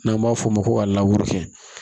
N'an b'a f'o ma ko a laburu kɛ